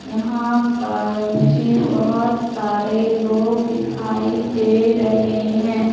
यहां पर मुझे बहोत सारे लोग दिखाई दे रहे हैं।